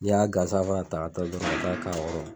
Ni y'a gansan fana ta ka taa dɔrɔn ka taa k'a kɔrɔ.